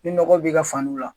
Ni nɔgɔ b'i ka fani la